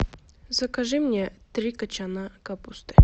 закажи мне три кочана капусты